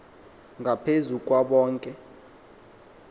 ngaphezu kwabo bonke